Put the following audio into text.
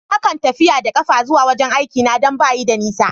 Na kan tafiya da kafa zuwa wajen aiki na dan ba yi da nisa.